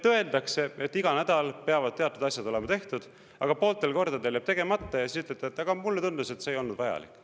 Öeldakse, et iga nädal peavad teatud asjad olema tehtud, aga pooltel kordadel jääb tegemata, ja siis ütlete: "Aga mulle tundus, et see ei olnud vajalik.